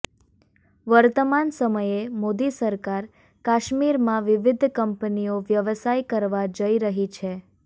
વર્તમાન સમયે મોદી સરકાર કાશ્મીરમાં વિવિધ કંપનીઓ વ્યવસાય કરવા જઈ રહી છે